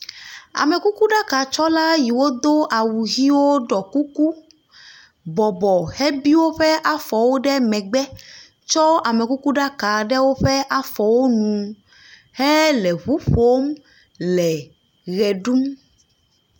Amekukuɖakatsɔla yiwo do awu ʋiwo ɖɔ kuku, bɔbɔ hebi woƒe afɔwo ɖe megbe tsɔ amekukuɖaka ɖe woƒe afɔwo nu hele ŋu ƒom le ʋe ɖum.